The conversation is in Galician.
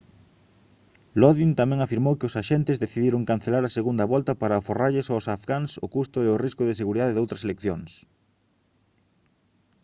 lodin tamén afirmou que os axentes decidiron cancelar a segunda volta para aforrarlles aos afgáns o custo e o risco de seguridade doutras eleccións